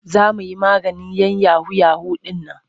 Za mu yi maganin 'yan yahu-yahu ɗin nan.